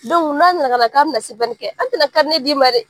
Dɔnku n'a na ka na k'a be na sɛbɛnni kɛ an ti na karinɛ d'i ma dɛ